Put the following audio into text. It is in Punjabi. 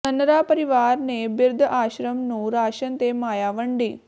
ਨੰਨਰਾ ਪਰਿਵਾਰ ਨੇ ਬਿਰਧ ਆਸ਼ਰਮ ਨੰੂ ਰਾਸ਼ਨ ਤੇ ਮਾਇਆ ਵੰਡੀ